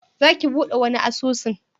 Za ki buɗe wani asusun?